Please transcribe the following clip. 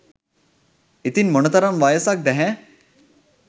ඉතිං මොන තරං වයසක්ද හෑ?